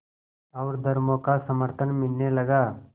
और धर्मों का समर्थन मिलने लगा